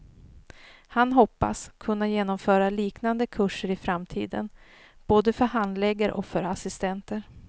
Han hoppas kunna genomföra liknande kurser i framtiden, både för handläggare och för assistenter.